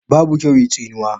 Babu kyau yi tsinuwa